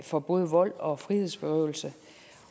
for både vold og frihedsberøvelse